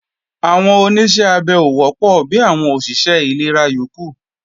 Àwọn Oníṣẹ́ abẹ ò wọ́pọ̀ bi àwọn òṣìṣẹ́ ìlera yókù